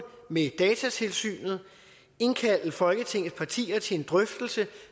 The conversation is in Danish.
med datatilsynet og indkalde folketingets partier til en drøftelse